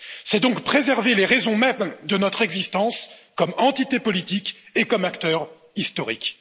C'est donc préserver les raisons mêmes de notre existence comme entité politique et comme acteur historique.